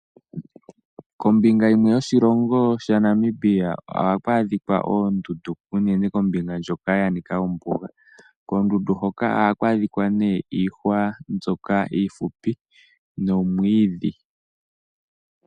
Kombinga yimwe yoshilongo shaNamibia ohaku adhika oondundu uunene kombinga ndjoka yanika ombuga. Koondundu hoka ohaku adhika nee iihwa mbyoka iifupi nomwiidhi.